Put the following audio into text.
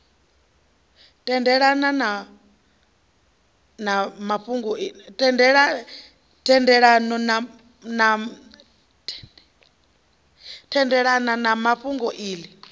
tendelana na na fhungo iḽi